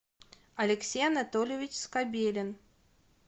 алексей анатольевич скобелин